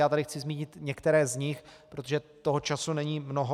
Já tady chci zmínit některé z nich, protože toho času není mnoho.